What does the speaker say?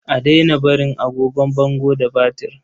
A daina barin agogon bango ba batir.